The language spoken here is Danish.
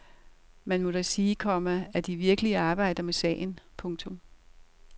Man må da sige, komma at de virkelig arbejder med sagen. punktum